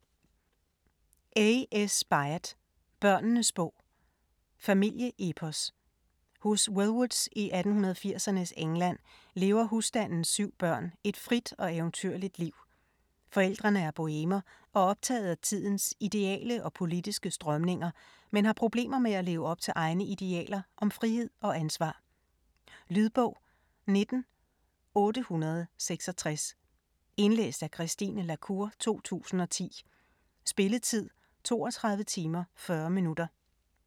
Byatt, A. S.: Børnenes bog Familieepos. Hos Wellwoods i 1880'ernes England lever husstandens 7 børn et frit og eventyrligt liv. Forældrene er bohemer og optaget af tidens ideale og politiske strømninger, men har problemer med at leve op til egne idealer om frihed og ansvar. Lydbog 19866 Indlæst af Christine la Cour, 2010. Spilletid: 32 timer, 40 minutter.